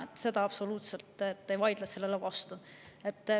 Sellele ma absoluutselt ei vaidle vastu.